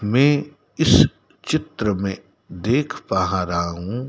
मैं इस चित्र में देख पा रहा हूं।